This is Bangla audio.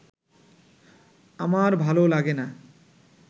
আমার ভালো লাগে না'